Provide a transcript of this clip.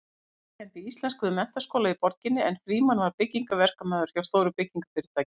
Benedikt kenndi íslensku við menntaskóla í borginni en Frímann var byggingaverkamaður hjá stóru byggingarfyrirtæki.